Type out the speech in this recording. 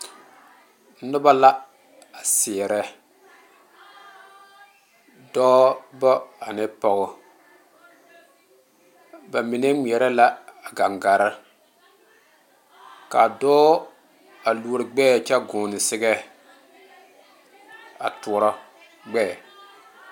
Noba la a seɛrɛ dɔɔba ane pɔge ba mine ŋmɛre la a gangaare ka dɔɔ a lɔri gbeɛ kyɛ gɔne zaŋa a tɔɔrɔ gbeɛ.